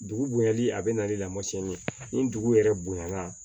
Dugu bonyali a bɛ na ni lamasiyɛn min ye ni dugu yɛrɛ bonya na